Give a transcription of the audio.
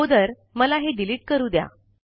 अगोदर मला हे डिलीट करू द्या